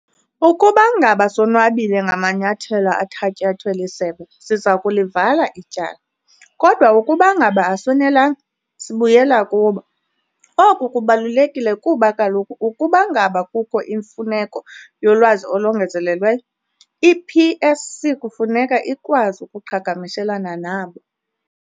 "Ukuba ngaba sonwabile ngamanyathelo athatyathwe lisebe, siza kulivala ityala, kodwa ukuba ngaba asonelanga, sibuyela kubo". Oku kubalulekile kuba kaloku ukuba ngaba kukho imfuneko yolwazi olongezelelweyo, i-PSC kufuneka ikwazi ukuqhagamshelana nabo.